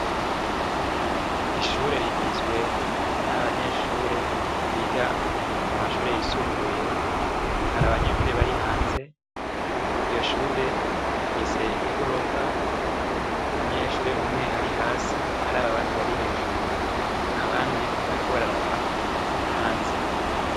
Ishure rigizwe n'abanyeshuri biga mu mashure yisumbuye, hari abanyeshure bari hanze, iryo shure rifise igorofa, umunyeshure umwe ari hasi araba abandi bari hejuru, abandi bariko bararaba hanze.